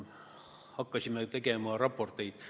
Hakkasime tegema raporteid.